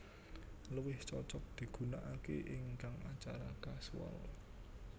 Luwih cocok digunakaké ing acara kasual